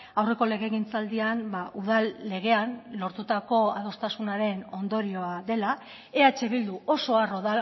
aurreko legegintzaldian udal legean lortutako adostasunaren ondorioa dela eh bildu oso harro